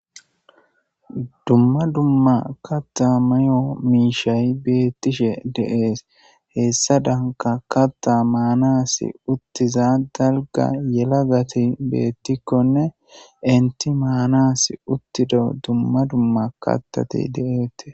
dumma dumma katta mayo miishay beettishe de7ees hessa danka kaththa maanas uttiza dalga yelagati beettikkonne enti maanas uttido dumma dumma kaththati de7eetes